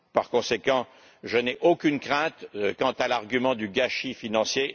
Par conséquent, je n'ai aucune crainte quant à l'argument du gâchis financier